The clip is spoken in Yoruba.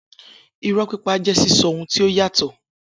Irọ́ pípa jẹ́ sísọ ohun tí ó yàtọ̀